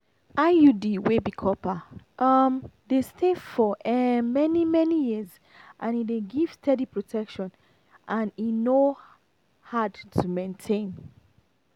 iud wey be copper um dey stay for um many-many years and e dey give steady protection and e no hard to maintain.